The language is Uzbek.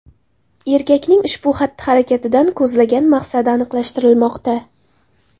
Erkakning ushbu xatti-harakatdan ko‘zlagan maqsadi aniqlashtirilmoqda.